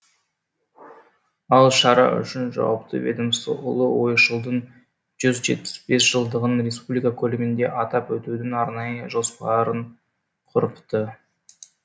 ал шара үшін жауапты ведомство ұлы ойшылдың жүз жетпіс бес жылдығын республика көлемінде атап өтудің арнайы жоспарын құрыпты